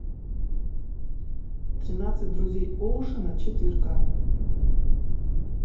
тринадцать друзей оушена четыре ка